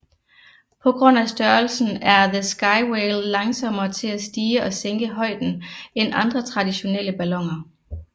På grund af størrelsen er The Skywhale langsommere til at stige og sænke højden end andre traditionelle balloner